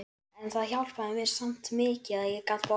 En það hjálpaði mér samt mikið að ég gat borðað.